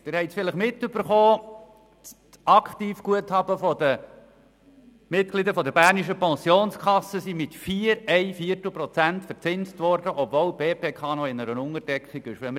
Vielleicht haben Sie mitbekommen, dass die Aktivguthaben der Mitglieder der Bernischen Pensionskasse (BPK) mit 4,25 Prozent verzinst wurden, obwohl die BPK sich noch in einer Unterdeckung befindet.